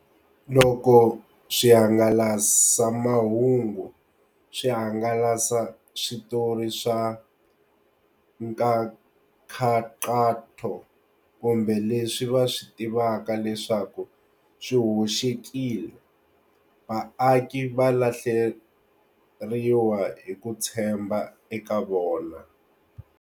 Loko swihangalasamahungu swi hangalasa switori swa nkankhaqato kumbe leswi va swi tivaka leswaku swi hoxekile, vaaki va lahleriwa hi ku tshemba eka vona.